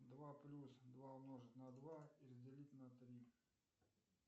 два плюс два умножить на два и разделить на три